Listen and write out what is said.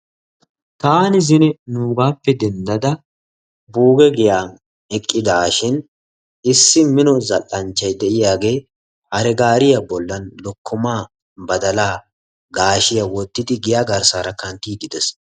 taani zine nuugape dendada buuge giyan eqqidaashin issi mino zal'anchchay diyaagee hare gaariya bolan lokkomaa gaashiyara wotidi giya garsaara kantiidi de'ees.